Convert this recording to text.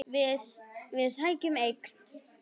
Við sækjum eggin.